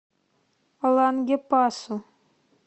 лангепасу